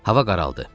Hava qaraldı.